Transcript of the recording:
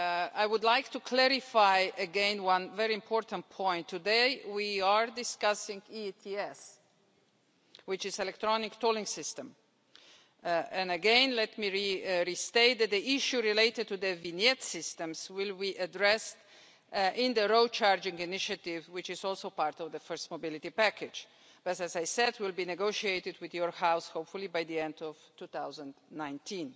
I would like to clarify again one very important point, today we are discussing ETS, which is an electronic tolling system, and again let me restate that the issue related to the vignette systems will be addressed in the road charging initiative, which is also part of the first mobility package, which as I said will be negotiated with your House hopefully by the end of 2019.